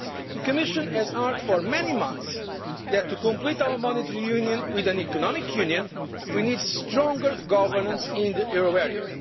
The Commission has argued for many months that, to complete our monetary union with an economic union, we need stronger governance in the euro